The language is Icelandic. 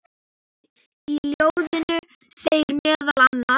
Í ljóðinu segir meðal annars